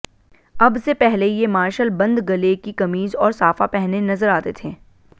अब से पहले ये मार्शल बंद गले की कमीज और साफा पहने नजर आते थे